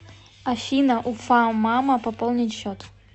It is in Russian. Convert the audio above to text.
афина уфамама пополнить счет